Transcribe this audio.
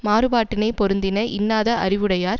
மாறுபாட்டினைப் பொருந்தின இன்னாத அறிவுடையார்